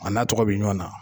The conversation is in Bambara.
A n'a tɔgɔ bi ɲɔn na